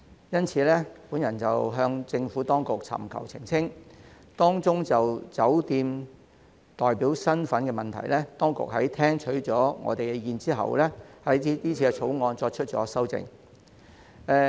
因此，我曾向政府當局尋求澄清，當中就着酒店代表身份的問題，當局在聽取意見後，對今次《條例草案》作出了修訂。